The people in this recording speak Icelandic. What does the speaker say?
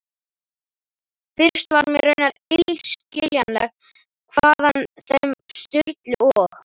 Fyrst var mér raunar illskiljanlegt hvaðan þeim Sturlu og